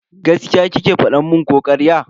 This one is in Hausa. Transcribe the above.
Gaskiya kike fada mun ko karya?